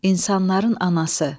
İnsanların anası.